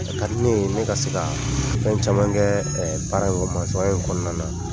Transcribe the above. Ka di ne ne ka se kaa fɛn caman kɛ baara in ɛ masɔn ya in kɔnɔna na